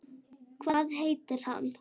Hvað heitir hann?